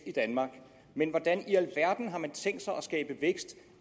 i danmark men hvordan i alverden har man tænkt sig at skabe vækst